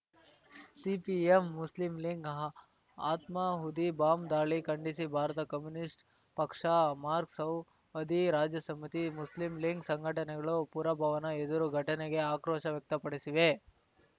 CPM Muslim League ಆತ್ಮಾಹುತಿ bomb ದಾಳಿ ಖಂಡಿಸಿ ಭಾರತ ಕಮ್ಯುನಿಸ್ಟ್‌ ಪಕ್ಷ ಮಾರ್ಕ್ಸ್‌ವ್ ವದಿ ರಾಜ್ಯ ಸಮಿತಿ ಮುಸ್ಲಿಂ ಲಿಂಗ್ ಸಂಘಟನೆಗಳು ಪುರಭವನ ಎದುರು ಘಟನೆಗೆ ಆಕ್ರೋಶ ವ್ಯಕ್ತಪಡಿಸಿವೆ